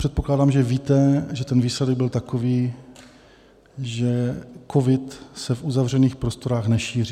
Předpokládám, že víte, že ten výsledek byl takový, že covid se v uzavřených prostorách nešíří.